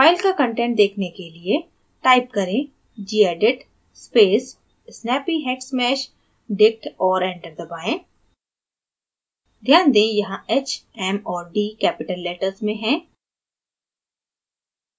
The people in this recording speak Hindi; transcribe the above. file का कंटेंट देखने के लिए type करें gedit space snappyhexmeshdict और enter दबाएँ ध्यान दें: यहाँ h m और d capital letters में हैं